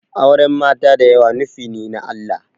Auren mata da yawa nufine na Allah